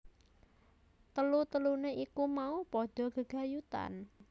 Tetelune iku mau padha gegayutan